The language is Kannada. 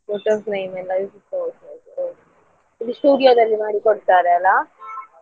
Photo frame ಎಲ್ಲಾ ಅದು studio ದಲ್ಲಿ ಮಾಡಿ ಕೊಡ್ತಾರೆ ಅಲ್ಲ.